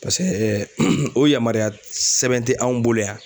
Paseke o yamaruya sɛbɛn te anw bolo yan